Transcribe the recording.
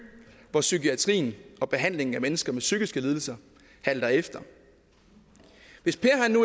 hvor psykiatrien og behandlingen af mennesker med psykiske lidelser halter efter hvis per